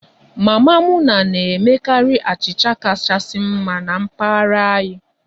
Mama Muna na-emekarị achịcha kachasị mma na mpaghara anyị